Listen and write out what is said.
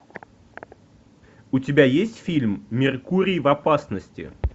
у тебя есть фильм меркурий в опасности